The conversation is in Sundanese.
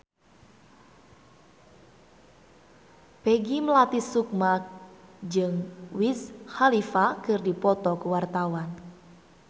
Peggy Melati Sukma jeung Wiz Khalifa keur dipoto ku wartawan